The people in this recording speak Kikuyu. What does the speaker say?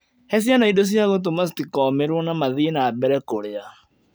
He ciana indo cia gũtũma citikomĩrũo na mathiĩ na mbere kũrĩa